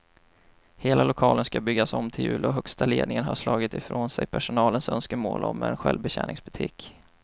Hela lokalen ska byggas om till jul och högsta ledningen har slagit ifrån sig personalens önskemål om en självbetjäningsbutik.